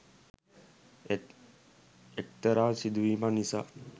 ඒත් එක්තරා සිදුවීමක් නිසා